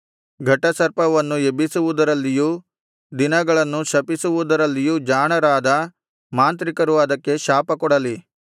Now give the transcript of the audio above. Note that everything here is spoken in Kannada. ಘಟಸರ್ಪವನ್ನು ಎಬ್ಬಿಸುವುದರಲ್ಲಿಯೂ ದಿನಗಳನ್ನು ಶಪಿಸುವುದರಲ್ಲಿಯೂ ಜಾಣರಾದ ಮಾಂತ್ರಿಕರು ಅದಕ್ಕೆ ಶಾಪಕೊಡಲಿ